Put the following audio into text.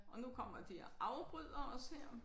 Og nu kommer de og afbryder os her